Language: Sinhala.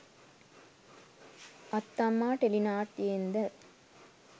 අත්තම්මා ටෙලිනාට්‍යයෙන්ද?